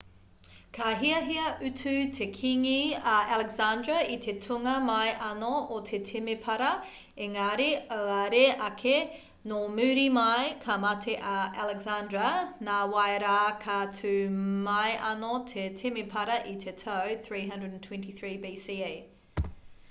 ka hiahia utu te kīngi a alexandra i te tūnga mai anō o te temepara engari auare ake nō muri mai ka mate a alexandra nāwai rā ka tū mai anō te temepara i te tau 323 bce